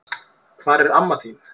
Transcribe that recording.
Hvar er amma þín?